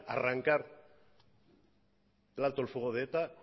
arrancar el alto al fuego de eta